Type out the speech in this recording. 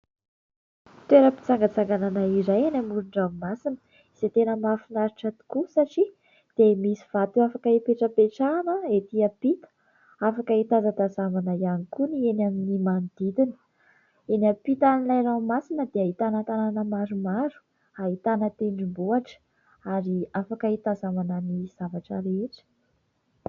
Toeram-pitsangatsanganana iray eny amoron-dranomasina. Izay tena mahafinaritra tokoa satria dia misy vato afaka hipetrapetrahana etỳ ampita, afaka hitazatazanana ihany koa ny eny amin'ny manodidiny. Eny ampitan'ilay raomasina dia hahitana tanàna maromaro, hahitana tendrombohitra, ary afaka hitazanana ny zavatra rehetra.